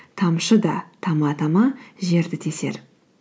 тамшы да тама тама жерді тесер